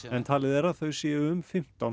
en talið er þau séu um fimmtán